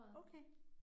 Okay